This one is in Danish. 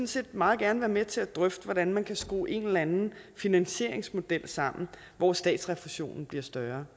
set meget gerne være med til at drøfte hvordan man kan skrue en eller anden finansieringsmodel sammen hvor statsrefusionen bliver større